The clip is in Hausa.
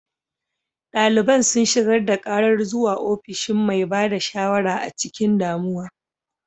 Daliban sun shigar da karar zuwa ofishin mai ba da shawara a cikin damuwa.